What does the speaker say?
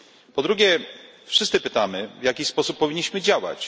Po drugie, wszyscy pytamy, w jaki sposób powinniśmy działać.